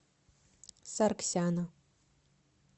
саргсяна